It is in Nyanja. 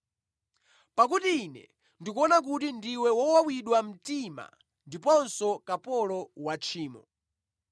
Pakuti ine ndikuona kuti ndiwe wowawidwa mtima ndiponso kapolo wa tchimo.”